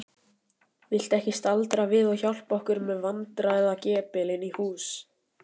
Viltu ekki staldra við og hjálpa okkur með vandræðagepilinn í hús?